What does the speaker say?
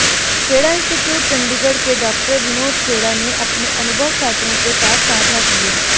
Kheda institute Chandigarh के doctor Vinod Khera ने अपने अनुभव छात्रों के साथ सांझा किए